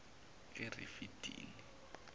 erifidini